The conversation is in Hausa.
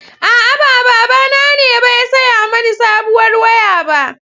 A'a, ba babana ne ba ya saya mani sabuwar waya ba.